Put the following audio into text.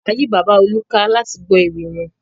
A yí bàbá Olú ká láti gbọ́ ewì wọn.